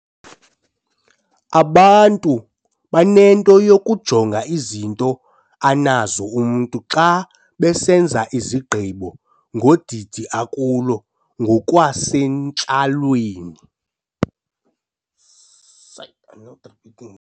Abantu banento yokujonga izinto anazo umntu xa besenza izigqibo ngodidi akulo ngokwasentlalweni.